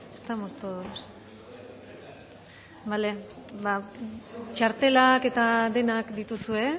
estamos todos txartelak eta denak dituzue